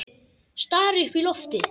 Stari upp í loftið.